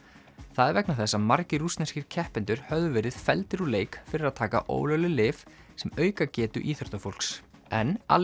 það er vegna þess að margir rússneskir keppendur höfðu verið felldir úr leik fyrir að taka ólögleg lyf sem auka getu íþróttafólks en